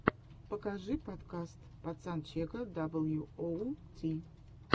покажи подкаст пацанчега дабл ю оу ти